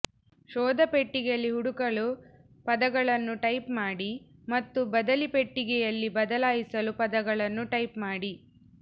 ಶೋಧ ಪೆಟ್ಟಿಗೆಯಲ್ಲಿ ಹುಡುಕಲು ಪದಗಳನ್ನು ಟೈಪ್ ಮಾಡಿ ಮತ್ತು ಬದಲಿ ಪೆಟ್ಟಿಗೆಯಲ್ಲಿ ಬದಲಾಯಿಸಲು ಪದಗಳನ್ನು ಟೈಪ್ ಮಾಡಿ